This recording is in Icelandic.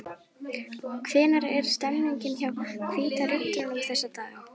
Hvernig er stemningin hjá Hvíta Riddaranum þessa dagana?